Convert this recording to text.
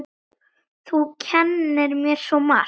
Þú kenndir mér svo margt.